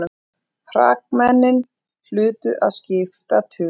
Hrakmennin hlutu að skipta tugum.